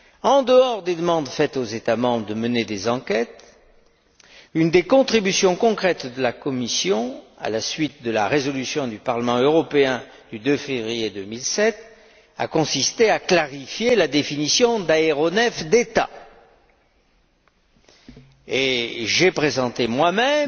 En dehors des demandes faites aux États membres de mener des enquêtes, une des contributions concrètes de la Commission, à la suite de la résolution du Parlement européen du 2 février 2007, a consisté à clarifier la définition d'aéronef d'État et j'ai présenté